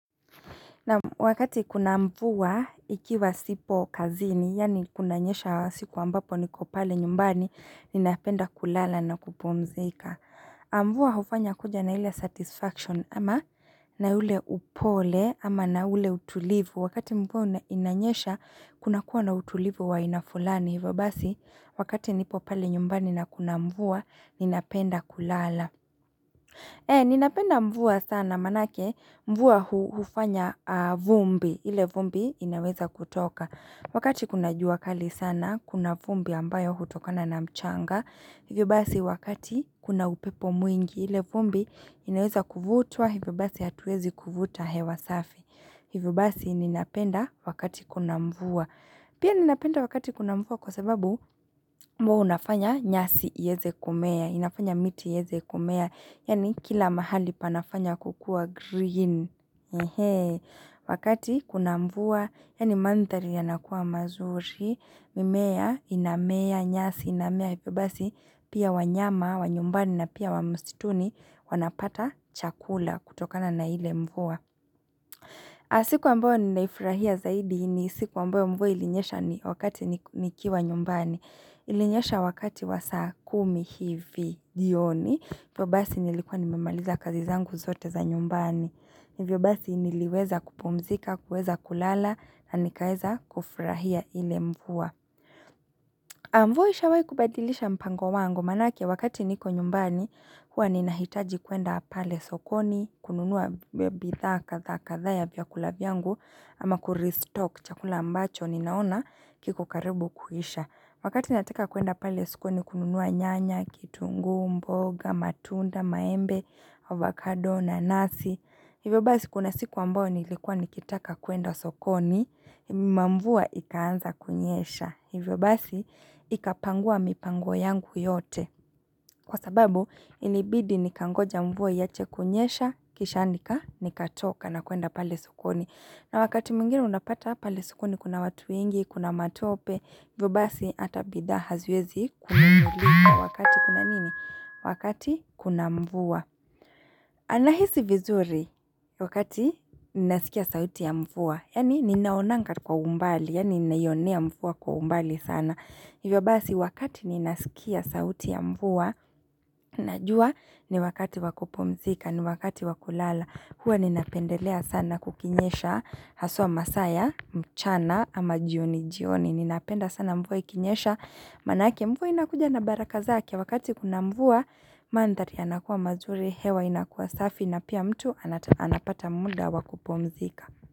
Wakati kuna mvua ikiwa sipo kazini, yani kunanyesha siku ambapo ni kupale nyumbani, ninapenda kulala na kupomzika. Mvua hufanya kuja na hile satisfaction ama na ule upole ama na ule utulivu. Wakati mvua inanyesha, kuna kuwa na utulivu wa inafulani. Vabasi, wakati nipo pale nyumbani na kuna mvua, ninapenda kulala. Ee, ninapenda mvua sana manake, mvua hufanya vumbi, ile vumbi inaweza kutoka. Wakati kuna jua kali sana, kuna vumbi ambayo hutokana na mchanga, hivyo basi wakati kuna upepo mwingi, ile vumbi inaweza kuvutua, hivyo basi hatuwezi kuvuta hewa safi. Hivyo basi ninapenda wakati kuna mvua. Pia ninapenda wakati kuna mvua kwa sababu mvua unafanya nyasi iyeze kumea, inafanya miti yeze kumea, yani kila mahali panafanya kukua green. Wakati kuna mvua, yani mantari yanakuwa mazuri, mimea inamea nyasi, inamea ipi basi, pia wanyama, wanyumbani na pia wamustituni wanapata chakula kutokana na ile mvua. Siku wamboe ni naifurahia zaidi ni siku wamboe mvua ilinyesha ni wakati nikiwa nyumbani. Ilinyesha wakati wa saa kumi hivi jioni. Vyo basi nilikuwa nimemaliza kazi zangu zote za nyumbani. Vyo basi niliweza kupumzika, kuweza kulala na nikaeza kufurahia ile mvua. Amvua ishawai kubadilisha mpango wango manake wakati niko nyumbani huwa ninahitaji kuenda pale sokoni kununua bitha katha katha ya biakula vyangu ama kuristock chakula ambacho ninaona kiku karibu kuhisha Wakati nataka kuenda pale sukoni kununuwa nyanya, kitungu, mboga, matunda, maembe, avocado na nasi, hivyo basi kuna siku ambo ni likuwa ni kitaka kuenda sokoni, mamvua ikaanza kunyesha, hivyo basi ikapangua mipango yangu yote. Kwa sababu, inibidi nikangoja mvua yache kunyesha, kishandika, nikatoka na kuenda pale sukoni. Na wakati mwingine unapata pale sukoni, kuna watu ingi, kuna matope, vibasi atabidaha ziezi kuna mvua. Wakati kuna nini? Wakati kuna mvua. Anahisi vizuri wakati ninasikia sauti ya mvua. Yani ninaonangat kwa umbali, yani ninaionia mvua kwa umbali sana. Hivyo basi wakati ninasikia sauti ya mvuwa, najua ni wakati wakupomzika, ni wakati wakulala, huwa ninapendelea sana kukinyesha, haswa masaya, mchana ama jioni jioni, ninapenda sana mvuwa ikinyesha, manake mvuwa inakuja na baraka zaki ya wakati kuna mvuwa, mandari yanakuwa mazuri, hewa inakuwa safi na pia mtu anapata muda wakupomzika.